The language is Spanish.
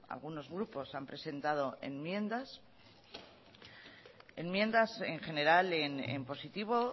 algunos grupos han presentado enmiendas enmiendas en general en positivo